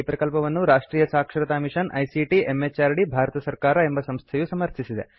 ಈ ಪ್ರಕಲ್ಪವನ್ನು ರಾಷ್ಟ್ರಿಯ ಸಾಕ್ಷರತಾ ಮಿಷನ್ ಐಸಿಟಿ ಎಂಎಚಆರ್ಡಿ ಭಾರತ ಸರ್ಕಾರ ಎಂಬ ಸಂಸ್ಥೆಯು ಸಮರ್ಥಿಸಿದೆ